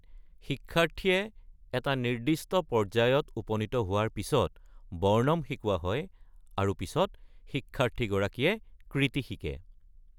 শিক্ষাৰ্থীয়ে এটা নিৰ্দিষ্ট পৰ্যায়ত উপনীত হোৱাৰ পিছত বৰ্ণম শিকোৱা হয় আৰু পিছত, শিক্ষাৰ্থীগৰাকীয়ে কৃতি শিকে।